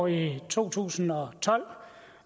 i to tusind og tolv